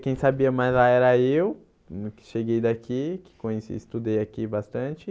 Quem sabia mais lá era eu, hum que cheguei daqui, que conheci estudei aqui bastante